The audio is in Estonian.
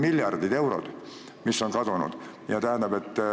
Miljardid eurod on kadunud.